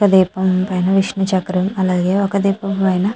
ఒక దీపం పైన విష్ణు చక్రం అలాగే ఒక దీపం పైన--